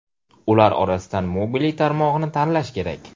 Ular orasidan Mobily tarmog‘ini tanlash kerak.